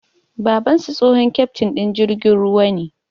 Babansu, tsohon keftin din jirgin ruwa ne